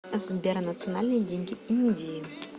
сбер национальные деньги индии